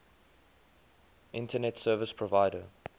internet service provider